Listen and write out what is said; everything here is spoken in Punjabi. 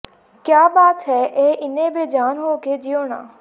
ਕਿਆ ਬਾਤ ਹੈ ਇਹ ਏਨੇ ਬੇਜਾਨ ਹੋ ਕੇ ਜਿਉਣਾ